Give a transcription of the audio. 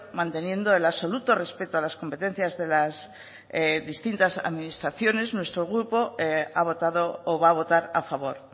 manteniendo el absoluto respeto a las competencias de las distintas administraciones nuestro grupo ha votado o va a votar a favor